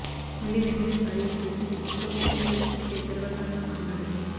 మళ్లి వెంటనే సారీ అంటూ ఇది సౌత్ సినీపరిశ్రమకే గర్వకారణం అన్నాడు